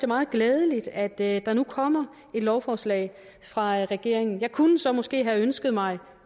meget glædeligt at der nu kommer et lovforslag fra regeringen jeg kunne så måske have ønsket mig